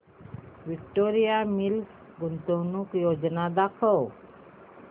Victoria Mills गुंतवणूक योजना दाखव